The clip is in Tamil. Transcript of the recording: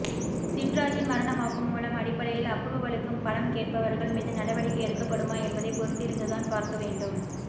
சின்ராஜின் மரண வாக்குமூலம் அடிப்படையில் அப்ரூவலுக்கு பணம் கேட்பவர்கள் மீது நடவடிக்கை எடுக்கப்படுமா என்பதை பொறுத்திருந்துதான் பார்க்க வேண்டும்